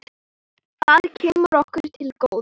Það kemur okkur til góða.